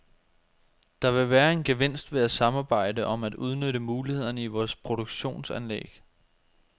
Der vil være en gevinst ved at samarbejde om at udnytte mulighederne i vores produktionsanlæg.